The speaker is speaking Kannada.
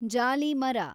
ಜಾಲಿ ಮರ